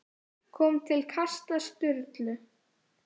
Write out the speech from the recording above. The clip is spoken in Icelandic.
kom til kasta Sturlu.